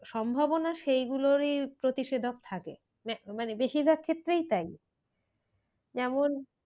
সম্ভবনা সেই গুলোরই প্রতিশোধক থাকে। মানে বেশির ভাগ ক্ষেত্রেই তাই যেমন,